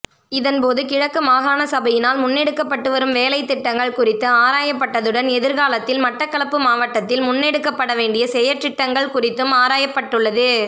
இதன்போது கிழக்கு மாகாண சபையினால் முன்னெடுக்கப்பட்டுவரும் வேலைத்திட்டங்கள் குறித்து ஆராயப்பட்டதுடன் எதிர்காலத்தில் மட்டக்களப்பு மாவட்டத்தில் முன்னெடுக்கப்படவேண்டிய செயற்றிட்டங்கள் குறித்தும் ஆராயப்பட்டுள்ளது